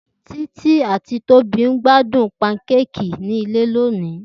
Titi ati Tobi n gbadun Pankéèkì ni ile loni.